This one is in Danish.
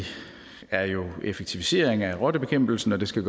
er jo effektivisering af rottebekæmpelsen og det skal